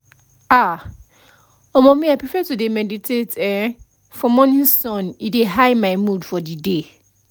ah um me i prefer to dey meditate[um]for morning sun e dey high my mood for the day